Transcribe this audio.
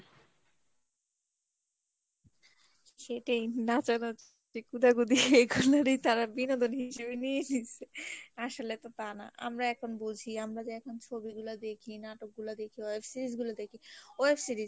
সেটিই নাচানাচি কুদাকুদি এগুলেরি তারা বিনোদন হিসাবে নিয়ে নিয়সে আসলে তো তা না আমরা এখন বুঝি আমরা যে এখন ছবিগুলা দেখি নাটকগুলা দেখি web series গুলি দেখি web series